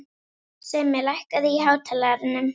Simmi, lækkaðu í hátalaranum.